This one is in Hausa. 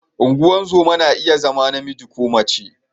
Ungozoma na iya zama namiji ko mace.